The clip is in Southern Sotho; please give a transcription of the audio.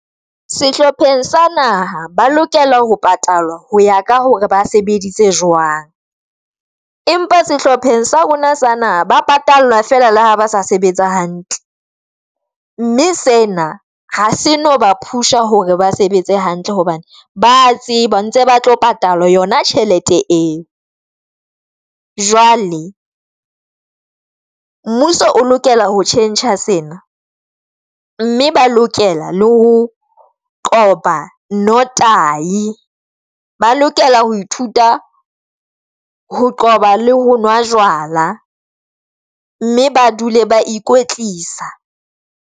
Sehlopheng sa naha ba lokela ho patalwa ho ya ka hore ba sebeditse jwang, empa sehlopheng sa rona sa naha, ba patallwa fela le ha ba sa sebetsa hantle, mme sena ha se no ba push-a hore ba sebetse hantle hobane ba tseba ntse ba tlo patala yona tjhelete eo. Jwale mmuso o lokela ho tjhentjha sena mme ba lokela le ho qoba no tai, ba lokela ho ithuta ho qoba le ho nwa jwala mme ba dule ba ikwetlisa.